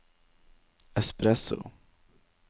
espresso